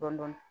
Dɔɔnin dɔɔnin